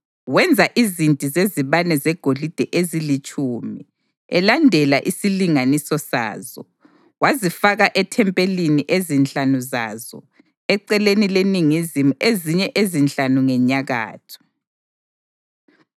Wenza izinti zezibane zegolide ezilitshumi elandela isilinganiso sazo, wazifaka ethempelini, ezinhlanu zazo eceleni leningizimu ezinye ezinhlanu ngenyakatho.